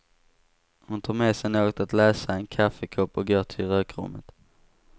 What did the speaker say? Hon tar med sig något att läsa, en kaffekopp och går till rökrummet.